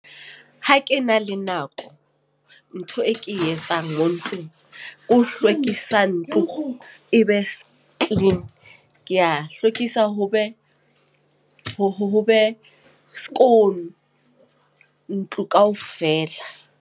Ha ke na le nako. Ntho e ke e etsang mo ntlong. Ke ho hlwekisa ntlo, e be clean. Ke a hlwekisa ho be skoon ntlo kaofela.